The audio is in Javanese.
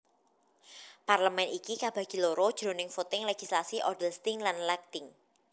Parlemen iki kabagi loro jroning voting legislasi Odelsting lan Lagting